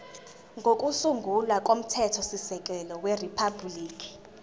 kokusungula komthethosisekelo weriphabhuliki